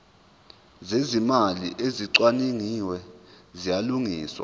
zezimali ezicwaningiwe ziyalungiswa